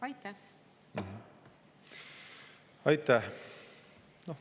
Aitäh!